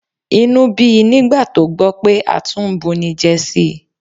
Inú bí i nígbà tó gbọ́ pé a tún ń bunijẹ sí i